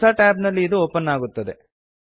ಹೊಸ ಟ್ಯಾಬ್ ನಲ್ಲಿ ಇದು ಓಪನ್ ಅಗುತ್ತದೆ